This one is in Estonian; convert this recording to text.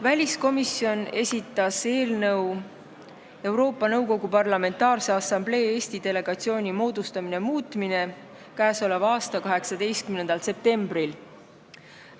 Väliskomisjon esitas Riigikogu otsuse "Riigikogu otsuse "Euroopa Nõukogu Parlamentaarse Assamblee Eesti delegatsiooni moodustamine" muutmine" k.a 18. septembril.